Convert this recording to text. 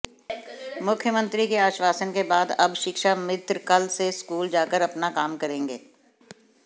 मुख्यमंत्री के आश्वासन के बाद अब शिक्षा मित्र कल से स्कूल जाकर अपना काम करेंगे